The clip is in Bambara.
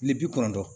Kile bi kɔnɔntɔn